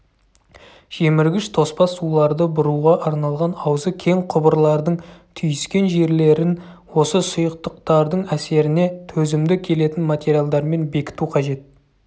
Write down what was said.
жеміргіш тоспа суларды бұруға арналған аузы кең құбырлардың түйіскен жерлерін осы сұйықтықтардың әсеріне төзімді келетін материалдармен бекіту қажет